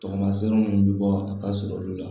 Tamasere minnu bɛ bɔ a ka surun olu la